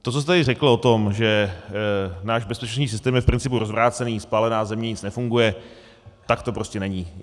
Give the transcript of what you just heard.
To, co jste tady řekl o tom, že náš bezpečnostní systém je v principu rozvrácený, spálená země, nic nefunguje - tak to prostě není.